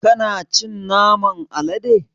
Kana cin naman alade?